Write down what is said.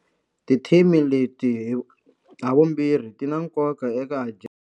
Tithimi leti havumbirhi ti na nkoka eka.